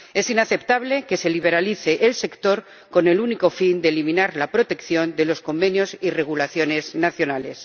Es inaceptable que se liberalice el sector con el único fin de eliminar la protección de los convenios y regulaciones nacionales.